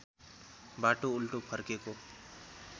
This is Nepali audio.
बाटो उल्टो फर्केको